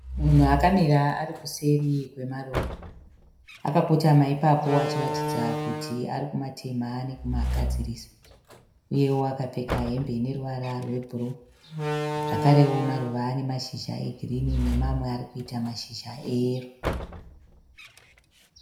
Munhu akamira ari kuseri kwemaruva akakotama ipapo achiratidza kuti arikumatema nekumagadzirisa uyewo akapfeka hembe yeruvara rwebruu zvakarewo maruva ane mashizha egirinhi nemamwe arikuita mashizha eyero.